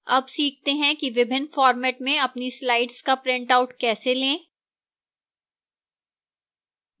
अब सीखते हैं कि विभिन्न फॉर्मेट में अपनी slides का printout कैसे लें